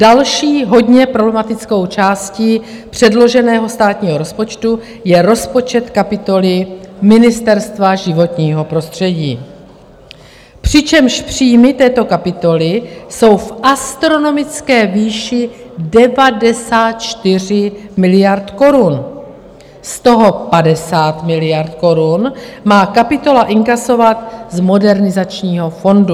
Další hodně problematickou částí předloženého státního rozpočtu je rozpočet kapitoly Ministerstva životního prostředí, přičemž příjmy této kapitoly jsou v astronomické výši 94 miliard korun, z toho 50 miliard korun má kapitola inkasovat z Modernizačního fondu.